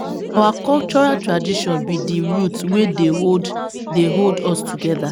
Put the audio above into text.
Na our cultural tradition be di root wey dey hold dey hold us togeda.